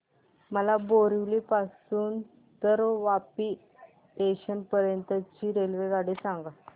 मला बोरिवली पासून तर वापी जंक्शन पर्यंत ची रेल्वेगाडी सांगा